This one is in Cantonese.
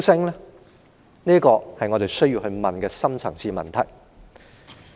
這些都是我們需要問的深層次問題。